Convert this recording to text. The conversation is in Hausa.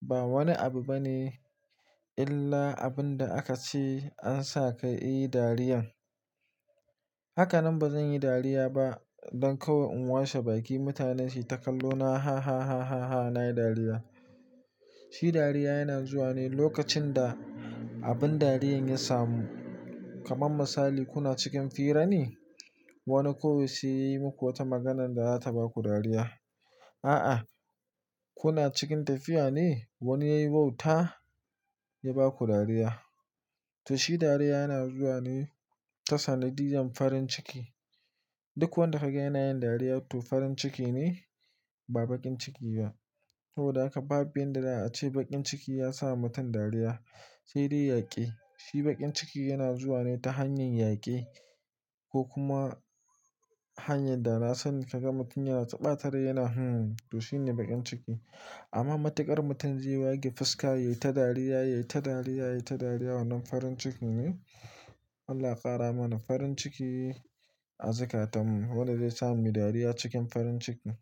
ba wani abu bane illa abin da aka ci an sa ka yi dariyan. Haka nan ba zan yi dariya ba don kawai in washe baki mutanen su yi takallona ha ha ha ha na yi dariya. Shi dariya yana zuwa ne lokacin da abin dariyan ya samu. Kaman misali kuna cikin fira ne wani kawu sai ya yi muku wata maganan da za ta baku dariya. A'a kuna cikin tafiya ne wani ya yi bauta ya baku dariya. To shi dariya yana zuwa ne ta sanadiyan farin ciki. Duk wanda kaga yana yin dariya to farin ciki ne ba bakin ciki ba. Sabida haka babu yanda za a ce bakin ciki ya sa mutum dariya sai dai yaƙi. Shi bakin ciki yana zuwa ne ta hanyar yaƙi ko kuma hanyar dana sani kaga mutum yana ta ɓatare yana hmmm to shine bakin ciki. Amma matuƙar mutum zai wage fuska ya yi ta dariya, ya yi ta dariya, ya yi ta dariya wannan farin ciki ne? Allah ƙara mana farin ciki a zukatun mu. Wadda zai sa mu yi dariya cikin farin ciki.